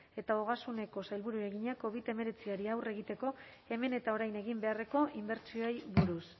eta ogasuneko sailburuari egina covid hemeretziari aurre egiteko hemen eta orain egin beharreko inbertsioei buruz